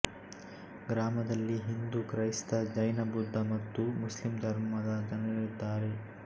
ಗ್ರಾಮದಲ್ಲಿ ಹಿಂದೂ ಕ್ರೈಸ್ತ ಜೈನಬೌದ್ಧ ಮತ್ತು ಮುಸ್ಲಿಂ ಧರ್ಮದ ಜನರಿದ್ದಾರೆ